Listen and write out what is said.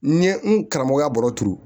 N ye n karamɔgɔya baro turu